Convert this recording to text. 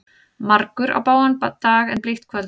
Margur á bágan dag en blítt kvöld.